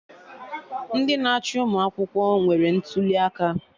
Ndị na-achị ụmụ akwụkwọ nwere ntụli aka